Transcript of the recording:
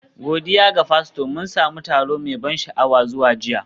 Godiya ga Fasto, mun sami taro mai ban sha'awa zuwa jiya